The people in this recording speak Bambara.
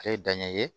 Ale ye danɲɛ ye